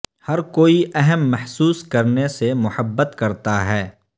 ہر کوئی اہم محسوس کرنے سے محبت کرتا ہے